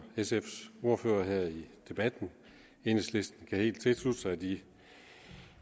sfs ordfører her i debatten enhedslisten kan helt tilslutte sig de